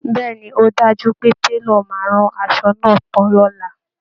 Bẹ́ẹ̀ ni, ó dájú pé Télọ̀ máa rán asọ náà tán lọ́la